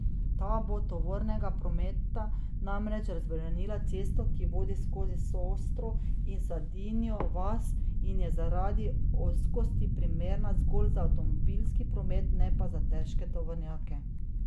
Ta bo tovornega prometa namreč razbremenila cesto, ki vodi skozi Sostro in Sadinjo vas in je zaradi ozkosti primerna zgolj za avtomobilski promet, ne pa za težke tovornjake.